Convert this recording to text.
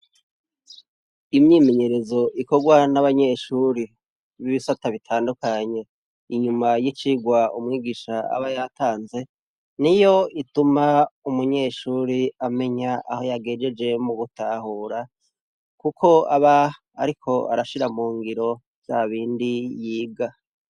Imyimenyerezo ikorwa n'abanyeshure bibisata bitandukanye, inyuma yicirwa umwigisha aba yatanze, niyo ituma umunyeshure amenya aho yagejeje mugutahura, kuko aba ariko arashira mungiro vyabindi yiga.